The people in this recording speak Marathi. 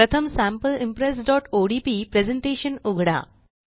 प्रथम sample impressओडीपी प्रेज़ेंटेशन उघडा